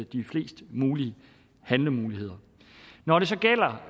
de fleste handlemuligheder når det så gælder